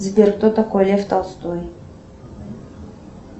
сбер кто такой лев толстой